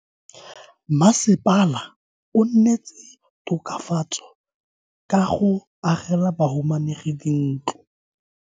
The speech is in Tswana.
Mmasepala o neetse tokafatso ka go agela bahumanegi dintlo.